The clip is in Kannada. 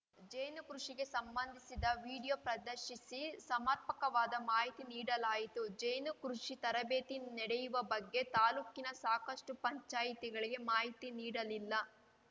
ಜೇನು ಕೃಷಿಗೆ ಸಂಬಂಧಿಸಿದ ವೀಡಿಯೋ ಪ್ರದರ್ಶಿಸಿ ಸಮರ್ಪಕವಾದ ಮಾಹಿತಿ ನೀಡಲಾಯಿತು ಜೇನು ಕೃಷಿ ತರಬೇತಿ ನಡೆಯುವ ಬಗ್ಗೆ ತಾಲೂಕಿನ ಸಾಕಷ್ಟುಪಂಚಾಯಿತಿಗಳಿಗೆ ಮಾಹಿತಿ ನೀಡಲಿಲ್ಲ